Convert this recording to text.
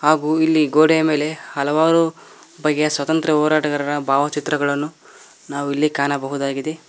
ಹಾಗು ಇಲ್ಲಿ ಗೋಡೆ ಮೇಲೆ ಹಲವಾರು ಬಗೆಯ ಸ್ವತಂತ್ರ ಹೋರಾಟಗಾರರ ಭಾವಚಿತ್ರಗಳನ್ನು ನಾವಿಲ್ಲಿ ಕಾಣಬಹುದಾಗಿದೆ.